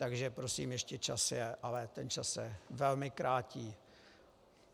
Takže prosím, ještě čas je, ale ten čas se velmi krátí.